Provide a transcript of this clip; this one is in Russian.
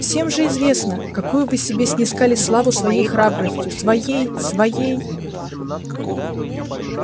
всем же известно какую вы себе снискали славу своей храбростью своей своей